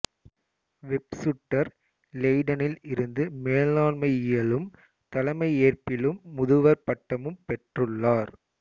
வெப்சுட்டர் இலெய்டனில் இருந்து மேலாண்மையியலிலும் தலைமையேற்பிலும் முதுவர் பட்டமும் பெற்றுள்ளார்